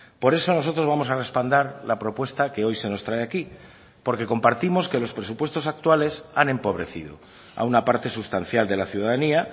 por eso nosotros vamos a respaldar la propuesta que hoy se nos trae aquí porque compartimos que los presupuestos actuales han empobrecido a una parte sustancial de la ciudadanía